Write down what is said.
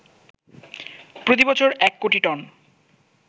প্রতিবছর ১ কোটি টন